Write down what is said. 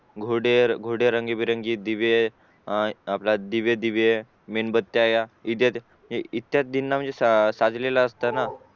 घोडे रंगी बिरंगी दिवे मेणबत्या इत्यादीं ना म्हणजे सजलेला असत ना